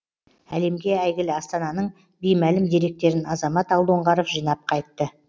әлемге әйгілі астананың беймәлім деректерін азамат алдоңғаров жинап қайтты